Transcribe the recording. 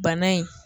Bana in